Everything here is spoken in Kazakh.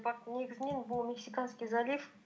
бірақ негізінен бұл мексиканский залив